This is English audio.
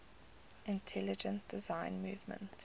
intelligent design movement